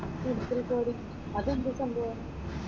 Medical coding, അതെന്താ സംഭവം?